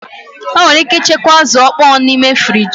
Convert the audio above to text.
Enwere ike ịchekwa azụ̀ ọkpọọ n'ime friji